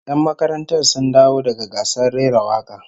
Yan makarantar sun dawo daga gasar rera waka